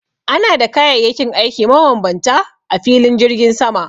Ana da kayayyakin aikin mabambanta a filin jirgin sama